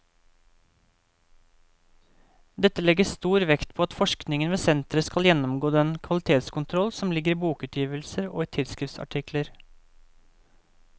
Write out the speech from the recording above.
Dette legges stor vekt på at forskningen ved senteret skal gjennomgå den kvalitetskontroll som ligger i bokutgivelser og i tidsskriftsartikler.